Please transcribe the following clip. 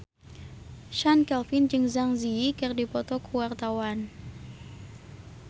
Chand Kelvin jeung Zang Zi Yi keur dipoto ku wartawan